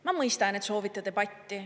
Ma mõistan, et soovite debatti.